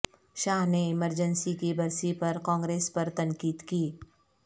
شاہ نے ایمرجنسی کی برسی پر کانگریس پر تنقید کی